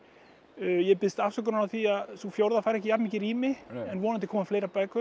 ég biðst afsökunar á því að sú fjórða fær ekki jafn mikið rými en vonandi koma fleiri bækur